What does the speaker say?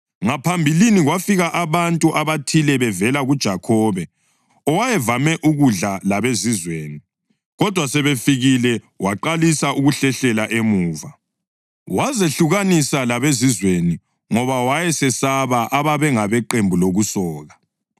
Ngaphambilini kwafika abantu abathile bevela kuJakhobe owayevame ukudla labeZizweni. Kodwa sebefikile waqalisa ukuhlehlela emuva, wazehlukanisa labeZizweni ngoba wayesesaba ababengabeqembu lokusoka.